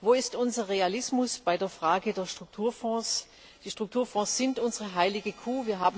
Wo ist unser Realismus bei der Frage der Strukturfonds? Die Strukturfonds sind unsere heilige Kuh.